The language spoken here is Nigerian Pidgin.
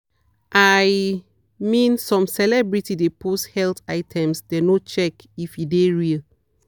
i mean some celeb de post health items dem no check if e de real.